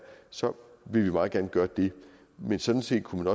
så vil vi meget gerne gøre det men sådan set kunne